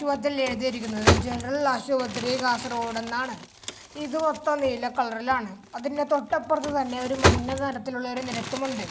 ഈ വാതിലിൽ എഴുതിയിരിക്കുന്നത് ജനറൽ ആശുപത്രി കാസർഗോഡ് എന്നാണ് ഇത് മൊത്തം നീല കളറിലാണ് അതിന്റെ തൊട്ടപ്പുറത്തു തന്നെ മഞ്ഞനിറത്തിൽ ഉള്ള ഒരു നിരത്തും ഉണ്ട്.